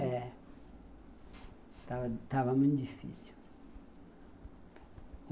É. Estava muito difícil.